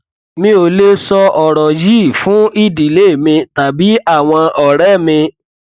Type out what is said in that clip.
mi ò lè sọ ọrọ yìí fún ìdílé mi tàbí àwọn ọrẹ mi